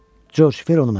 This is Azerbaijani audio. Corc, ver onu mənə.